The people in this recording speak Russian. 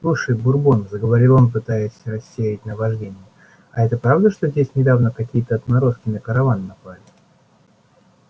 слушай бурбон заговорил он пытаясь рассеять наваждение а это правда что здесь недавно какие-то отморозки на караван напали